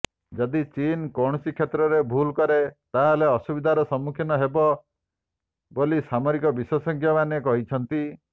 ଯଦି ଚୀନ କୌଣସି କ୍ଷେତ୍ରରେ ଭୁଲ କରେ ତାହାହେଲେ ଅସୁବିଧାର ସମ୍ମୁଖୀନ ହେବ ବୋଲି ସାମରିକ ବିଶେଷଜ୍ଞମାନେ କହିଛନ୍ତି